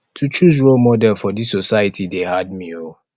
to choose role model for dis society dey hard me o